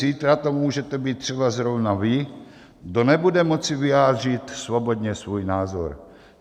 Zítra to můžete být třeba zrovna vy, kdo nebudete moci vyjádřit svobodně svůj názor.